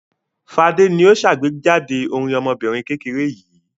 Fadé ni ó ṣàgbéjáde orin ọmọbìnrin kékeré yìí.